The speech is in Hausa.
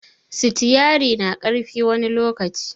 Sitiari na ƙarfi wani lokaci